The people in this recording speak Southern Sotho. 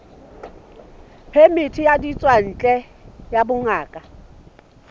phemiti ya ditswantle ya bongaka